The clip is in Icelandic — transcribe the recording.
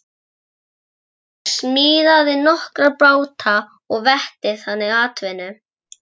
Auðbergur smíðaði nokkra báta og veitti þannig atvinnu.